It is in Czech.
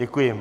Děkuji.